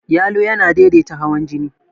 Yalo yana daidaita hawan jini.